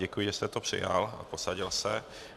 Děkuji, že jste to přijal a posadil se.